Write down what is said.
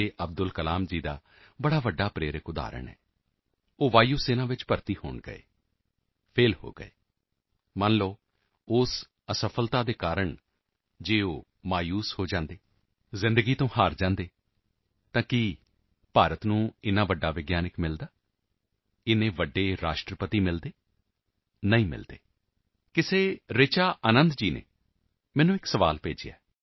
ਅਬਦੁਲ ਕਲਾਮ ਜੀ ਦਾ ਇੱਕ ਵੱਡਾ ਪ੍ਰੇਰਕ ਉਦਾਹਰਨ ਹੈ ਉਹ ਹਵਾਈ ਸੈਨਾ ਵਿੱਚ ਭਰਤੀ ਹੋਣ ਗਏ ਫੈਲ ਹੋ ਗਏ ਮੰਨ ਲਓ ਉਸ ਅਫਸਲਤਾ ਕਾਰਨ ਜੇਕਰ ਉਹ ਮਾਯੂਸ ਹੋ ਜਾਂਦੇ ਜ਼ਿੰਦਗੀ ਤੋਂ ਹਾਰ ਜਾਂਦੇ ਤਾਂ ਕੀ ਭਾਰਤ ਨੂੰ ਇੰਨਾ ਵੱਡਾ ਵਿਗਿਆਨਕ ਮਿਲਦਾ ਇੰਨੇ ਵੱਡੇ ਰਾਸ਼ਟਰਪਤੀ ਮਿਲਦੇ ਨਹੀਂ ਮਿਲਦੇ ਕਿਸੇ ਰਿਚਾ ਆਨੰਦ ਜੀ ਨੇ ਮੈਨੂੰ ਇੱਕ ਸੁਆਲ ਭੇਜਿਆ ਹੈ